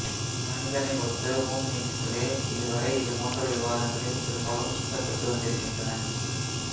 மனிதனை ஒத்த ஹோமினிட்களே இதுவரை இதுபோன்ற விவாதங்களில் பெரும்பாலும் சுட்டப்பட்டு வந்திருக்கின்றன